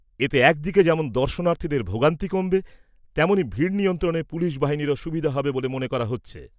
এতে এক দিকে যেমন দর্শনার্থীদের ভোগান্তি কমবে, তেমনই ভিড় নিয়ন্ত্রণে পুলিশ বাহিনীরও সুবিধা হবে বলে মনে করা হচ্ছে।